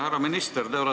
Härra minister!